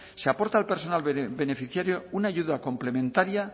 se aporta al personal beneficiario una ayuda complementaria